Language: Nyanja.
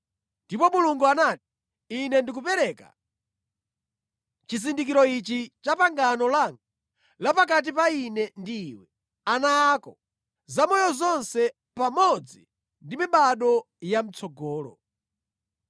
Ndipo Mulungu anati, “Ine ndikupereka chizindikiro ichi cha pangano langa la pakati pa Ine ndi iwe, ana ako, zamoyo zonse, pamodzi ndi mibado ya mʼtsogolo.